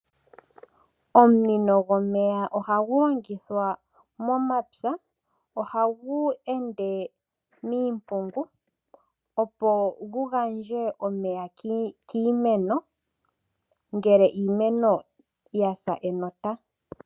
Omunino gomeya ohagu longithwa momapya, ohagu ende miimpungu opo gu gandje omeya kiimeno, ngele iimeno ya sa enota.